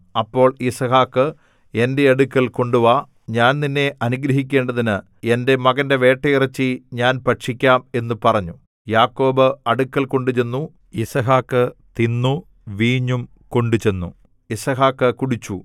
അപ്പോൾ യിസ്ഹാക്ക് എന്റെ അടുക്കൽ കൊണ്ടുവാ ഞാൻ നിന്നെ അനുഗ്രഹിക്കേണ്ടതിന് എന്റെ മകന്റെ വേട്ടയിറച്ചി ഞാൻ ഭക്ഷിക്കാം എന്നു പറഞ്ഞു യാക്കോബ് അടുക്കൽ കൊണ്ടുചെന്നു യിസ്ഹാക്ക് തിന്നു വീഞ്ഞും കൊണ്ടുചെന്നു യിസ്ഹാക്ക് കുടിച്ചു